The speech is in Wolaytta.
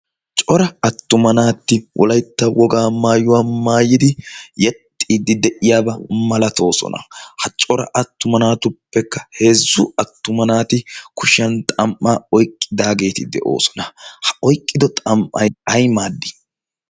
cora attuma naatti wolaytta wogaa maayuwaa maayidi yexiiddi de'iyaabaa malatoo. ha cora attuma naatuppekka heezzu attuma naati kushiyan xam'a oyqqidaageeti de'oosona. ha oyqqido xam'ay ay maaddi